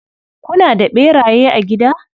Kuna da ɓeraye a gida?